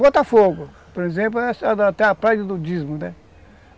Botafogo, por exemplo, até a praia de nudismo, né.